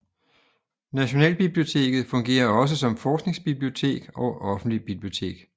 Nationalbiblioteket fungerer også som forskningsbibliotek og offentligt bibliotek